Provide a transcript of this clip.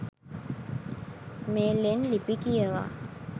මේ ලෙන් ලිපි කියවා